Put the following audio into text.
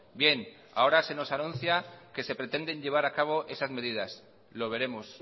bien ahora se nos anuncia que se pretenden llevar a cabo esas medidas lo veremos